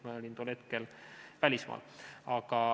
Ma olin tol hetkel välismaal.